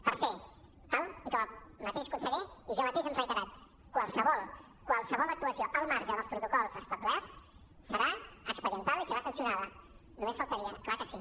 tercer tal com el mateix conseller i jo mateix hem reiterat qualsevol qualse·vol actuació al marge dels protocols establerts serà expedientada i serà sancionada només faltaria clar que sí